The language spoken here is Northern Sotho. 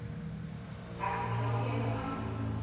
a fihla go yena a